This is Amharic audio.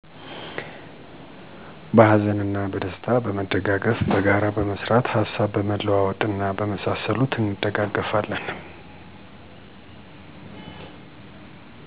በሀዘንና በደስታ በመደጋገፍ፣ በጋራ በመስራት፣ ሀሳብ በመለዋወጥ እና በመሳሰሉት እንደጋገፋለን።